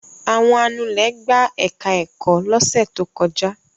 Àwọn anulẹ̀ gbá ẹ̀ka-ẹ̀kọ́ lọ́sẹ̀ tó kọjá.